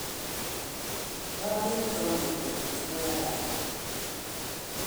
kiageer toonde kochut koyoe